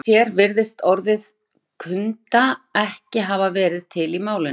Eitt sér virðist orðið kunda ekki hafa verið til í málinu.